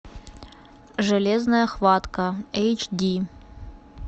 железная хватка эйч ди